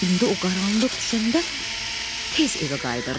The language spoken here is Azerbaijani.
İndi o qaranlıq düşəndə tez evə qayıdırdı.